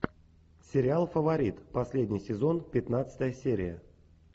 сериал фаворит последний сезон пятнадцатая серия